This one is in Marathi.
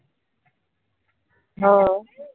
हाव.